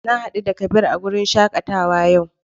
Na hadu da Kabir a wurin shakatawa yau.